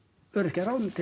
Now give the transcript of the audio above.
öryrkja ráðinn til